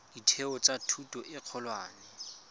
ditheo tsa thuto e kgolwane